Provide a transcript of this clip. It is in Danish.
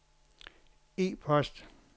e-post